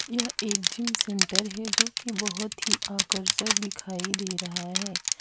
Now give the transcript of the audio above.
यह एक gym centre है जोकि बहोत ही आकर्षक दिखाई दे रहा है।